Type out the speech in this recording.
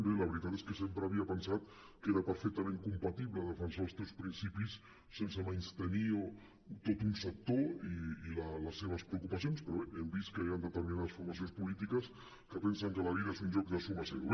bé la veritat és que sempre havia pensat que era perfectament compatible defensar els teus principis sense menystenir tot un sector i les seves preocupacions però bé hem vist que hi han determinades formacions polítiques que pensen que la vida és un joc de suma zero